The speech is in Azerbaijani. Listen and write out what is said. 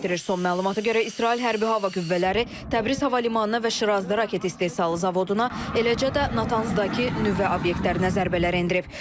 Son məlumata görə İsrail hərbi hava qüvvələri Təbriz hava limanına və Şirazda raket istehsalı zavoduna, eləcə də Natanzdakı nüvə obyektlərinə zərbələr endirib.